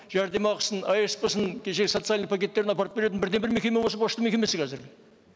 жәрдемақысын асп сын кешегі социальный пакеттерін апарып беретін бірден бір мекеме осы пошта мекемесі қазір